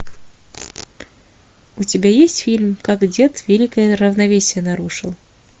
у тебя есть фильм как дед великое равновесие нарушил